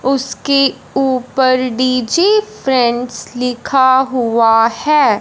उसके ऊपर DJ friends लिखा हुआ है।